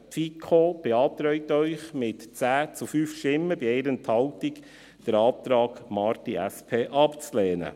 Die FiKo beantragt Ihnen mit 10 zu 5 Stimmen bei 1 Enthaltung, den Antrag Marti, SP, abzulehnen.